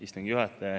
Istungi juhataja!